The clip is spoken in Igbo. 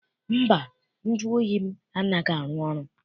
Mba, nju oyi m anaghị arụ ọrụ.